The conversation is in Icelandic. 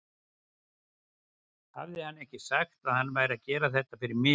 Hafði hann ekki sagt að hann væri að gera þetta fyrir mig?